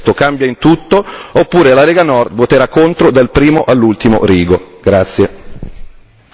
Quindi, per quanto mi riguarda, o questo testo cambia in tutto oppure la Lega Nord voterà contro dal primo all'ultimo rigo.